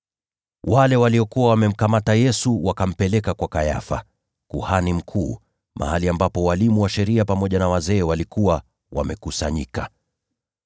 Wale waliokuwa wamemkamata Yesu wakampeleka kwa Kayafa, kuhani mkuu, mahali ambapo walimu wa sheria pamoja na wazee walikuwa wamekusanyika.